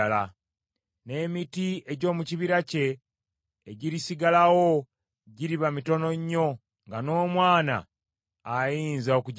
N’emiti egy’omu kibira kye egirisigalawo giriba mitono nnyo nga n’omwana ayinza okugibala.